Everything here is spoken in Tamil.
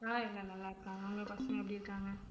ஆஹ் எல்லாரும் நல்லா இருக்காங்க. உங்க பசங்க எப்படி இருக்காங்க